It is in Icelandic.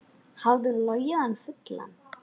Hafði hún logið hann fullan?